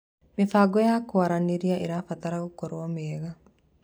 Mĩbango ya kũaranĩria ĩrabatara gũkorwo mĩega.